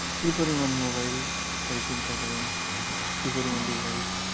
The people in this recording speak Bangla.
কি পরিমাণ mobile তাই চিন্তা করেন, কি পরিমাণ device